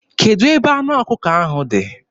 Kedụ ebe anụ ọkụkọ ahụ dị?